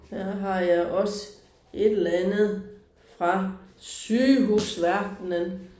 Her har jeg også et eller andet fra sygehusverdenen